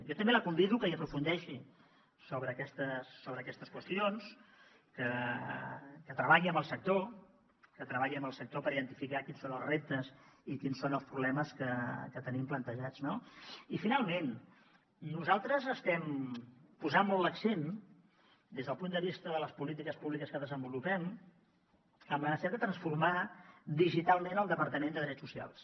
jo també la convido a que hi aprofundeixi sobre aquestes qüestions que treballi amb el sector que treballi amb el sector per identificar quins són els reptes i quins són els problemes que tenim plantejats no i finalment nosaltres estem posant molt l’accent des del punt de vista de les polítiques públiques que desenvolupem en la necessitat de transformar digitalment el departament de drets socials